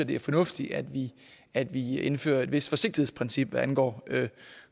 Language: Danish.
det er fornuftigt at vi at vi indfører et vist forsigtighedsprincip hvad angår